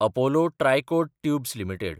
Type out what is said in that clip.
Apollo Tricoat Tubes limited